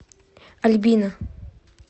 альбина